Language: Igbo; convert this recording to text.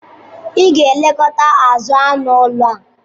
Ị ga-elekọta azụ anụ ụlọ a?